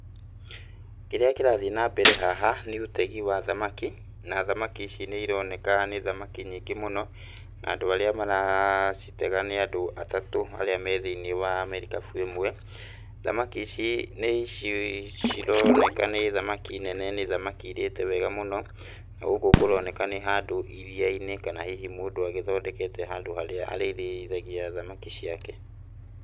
Kĩrĩa kĩrathiĩ na mbere haha nĩ ũtegi wa thamaki, na thamaki ici nĩ ironeka nĩ thamaki nyingĩ mũno, na andũ arĩa maracitega nĩ andũ atatũ arĩa me thĩiniĩ wa merikabu ĩmwe. Thamaki ici nĩ cironeka nĩ thamaki nene nĩ thamaki irĩte wega mũno. Na, gũkũ kũroneka nĩ handũ iria-inĩ, kana hihi mũndũ agĩthondekete handũ harĩa arĩrĩithagia thamaki ciake.